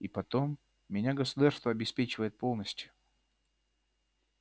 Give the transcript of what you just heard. и потом меня государство обеспечивает полностью